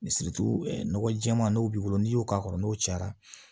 nɔgɔ jɛɛma n'o b'i bolo n'i y'o k'a kɔrɔ n'o cayara